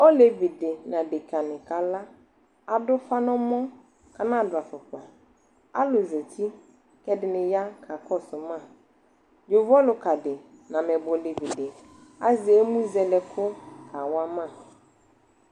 Olevi de na adeka ne kalaAdo ufa nɔmɔ ka nado afokpaAlu zati, kɛ ɛde ne ya ka kɔso maYovo ɔluka de na amɛbɔ olevi de azɛ emu zɛlɛ ko kawa ma